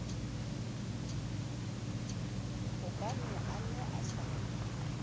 hobane a ne a sa